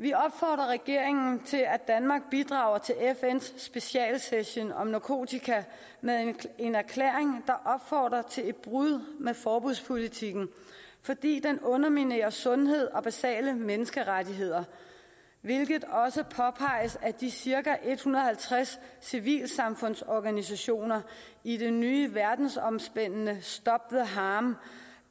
vi opfordrer regeringen til at danmark bidrager til fns specialsession om narkotika med en erklæring der opfordrer til et brud med forbudspolitikken fordi den underminerer sundhed og basale menneskerettigheder hvilket også påpeges af de cirka en hundrede og halvtreds civilsamfundsorganisationer i det nye verdensomspændende stop the harm